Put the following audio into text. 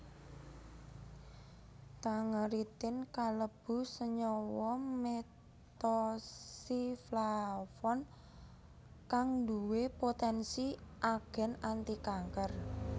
Tangeritin kalebu senyawa methoxyflavone kang nduwé poténsi agén antikanker